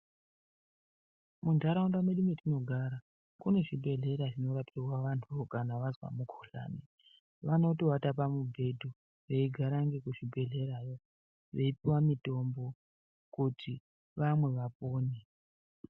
Munharaunda mwedu mwetinogara kune zvibhedhlera zvinorapirwa vanthu kana vazwa mukhuhlani vanotowata pamubhedhu veigara ngekuzvibhedhlerayo veipuwa mitombo kuti vamwe vapone.